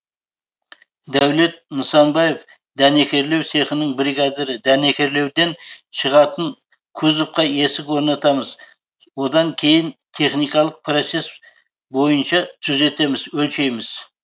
дәулет нысанбаев дәнекерлеу цехының бригадирі дәнекерлеуден шығатын кузовқа есік орнатамыз одан кейін техникалық процесс бойынша түзетеміз өлшейміз